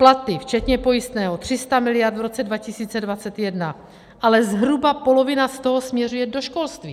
Platy včetně pojistného - 300 miliard v roce 2021, ale zhruba polovina z toho směřuje do školství.